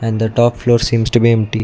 in the top floor seems to be empty.